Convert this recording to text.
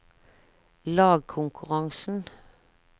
lagkonkurransen